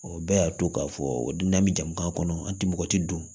O bɛɛ y'a to k'a fɔ don n'an bɛ jamu ka kɔnɔ an ti mɔgɔ ti don